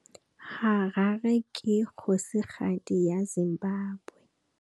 Harare ke kgosigadi ya Zimbabwe.